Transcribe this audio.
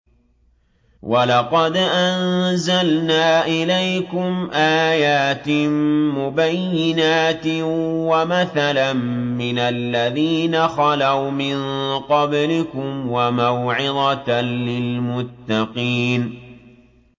وَلَقَدْ أَنزَلْنَا إِلَيْكُمْ آيَاتٍ مُّبَيِّنَاتٍ وَمَثَلًا مِّنَ الَّذِينَ خَلَوْا مِن قَبْلِكُمْ وَمَوْعِظَةً لِّلْمُتَّقِينَ